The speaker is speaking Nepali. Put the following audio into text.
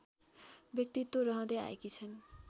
व्यक्तित्व रहँदै आएकी छन्